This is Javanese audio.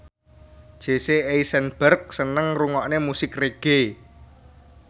Jesse Eisenberg seneng ngrungokne musik reggae